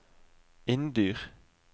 Inndyr